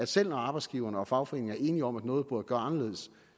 selv når arbejdsgiverne og fagforeningerne er enige om at noget burde gøres anderledes